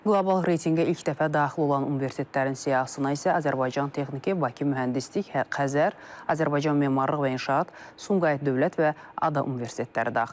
Qlobal reytinqə ilk dəfə daxil olan universitetlərin siyahısına isə Azərbaycan Texniki, Bakı Mühəndislik, Xəzər, Azərbaycan Memarlıq və İnşaat, Sumqayıt Dövlət və ADA universitetləri daxildir.